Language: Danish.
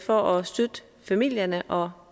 for at støtte familierne og